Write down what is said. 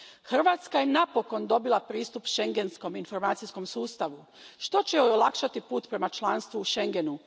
Hrvatska je napokon dobila pristup Schengenskom informacijskom sustavu, što će joj olakšati put prema članstvu u Schengenu.